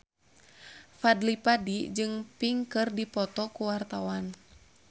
Fadly Padi jeung Pink keur dipoto ku wartawan